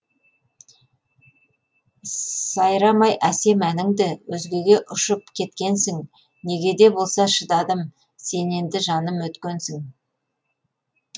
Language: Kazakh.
сайрамай әсем әніңді өзгеге ұшып кеткенсің неге де болса шыдадым сен енді жаным өткенсің